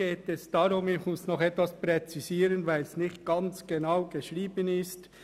Ich muss noch etwas präzisieren, weil es nicht ganz genau geschrieben ist.